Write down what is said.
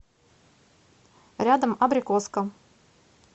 рядом абрикоска